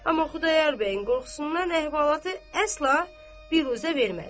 Amma Xudayar bəyin qorxusundan əhvalatı əsla biruzə vermədi.